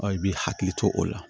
i b'i hakili to o la